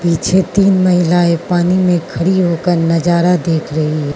पीछे तीन महिलाएं पानी में खड़ी होकर नजारा देख रही है।